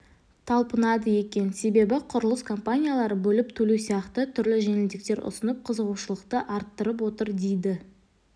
талпынады екен себебі құрылыс компаниялары бөліп төлеу сияқты түрлі жеңілдіктер ұсынып қызығушылықты арттырып отыр дейді